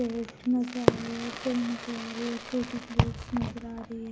Plate नजर आ रही है ट्रे नजर आ रही है छोटी प्लेट्स नजर आ रही है।